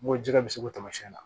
N ko ji ka se k'o taasiɲɛn na